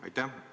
Aitäh!